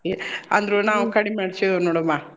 A ಅಂದ್ರು ನಾವ್ ಕಡಿಮಿ ಮಾಡ್ಸೇವ್ ನೋಡ್ಮಾ.